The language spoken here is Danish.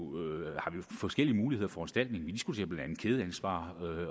forskellige muligheder og foranstaltninger